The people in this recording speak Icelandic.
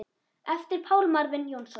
eftir Pál Marvin Jónsson